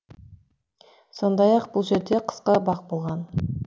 сондай ақ бұл жерде қысқы бақ болған